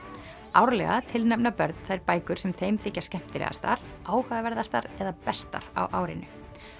árlega tilnefna börn þær bækur sem þeim þykja skemmtilegastar eða bestar á árinu